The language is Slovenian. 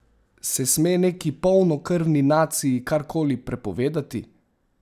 Se sme neki polnokrvni naciji karkoli prepovedati?